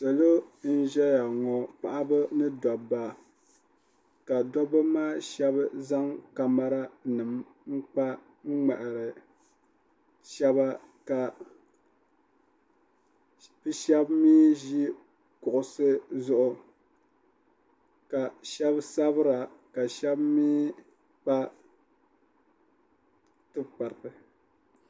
salo n ʒɛya paɣaba ni dabba ka dabba maa shab zaŋ kamɛra nim n kpa n ŋmahari shaba ka shab mii ʒi kuɣusi zuɣu ka shab sabira ka shab mii kpa tikpariti